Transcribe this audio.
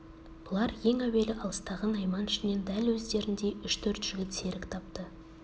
бұлар ең әуелі алыстағы найман ішінен дәл өздеріндей үш-төрт жігіт серік тапты